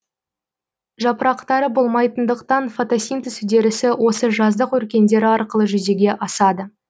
жапырақтары болмайтындықтан фотосинтез үдерісі осы жаздық өркендері арқылы жүзеге асады